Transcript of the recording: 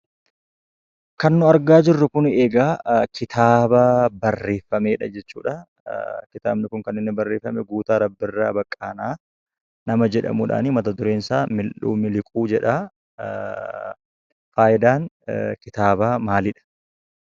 Kan nuyi argaa jirru kun, egaa kitaaba barreeffamedha jechuudha. Kitaabni kun kaniinni barreeffame Guutaa Rabbiirraa baqqaanaa nama jedhamudhan mata-dureen isa miliquu jedha. Faayidaan kitaaba maaliidha?